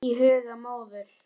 Í huga móður